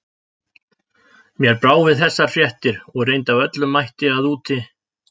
Mér brá við þessar fréttir og reyndi af öllum mætti að úti